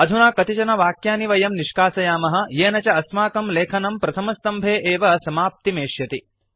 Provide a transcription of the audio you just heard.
अधुना कतिचन वाक्यानि वयं निष्कासयामः येन च अस्माकं लेखनं प्रथमसम्भे एव समाप्तिमेष्यति